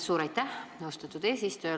Suur aitäh, austatud eesistuja!